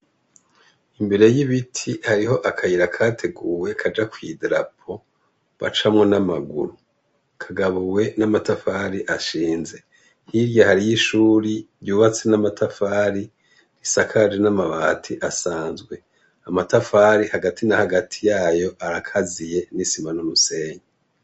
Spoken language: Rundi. Imbere y' ibiti hariyo akayira kateguwe kaja kw' idarapo bacamwo n' amaguru kagabuwe n' amatafari ashinze hirya hariho ishuri ryubatse n' amatafari risakaje n' amabati asanzwe amatafari hagati na hagati yayo arakaziye n' isima n' umusenyi.